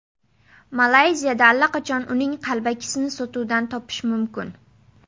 Malayziyada allaqachon uning qalbakisini sotuvdan topish mumkin.